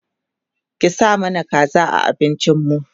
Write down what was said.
ki sa mana kaza a abincin mu